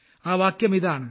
ആ വാക്യം ഇതാണ്